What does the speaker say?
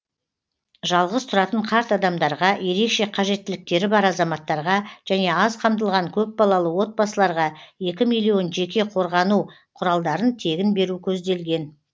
жалғыз тұратын қарт адамдарға ерекше қажеттіліктері бар азаматтарға және аз қамтылған көпбалалы отбасыларға екі миллион жеке қорғану құралдарын тегін беру көзделген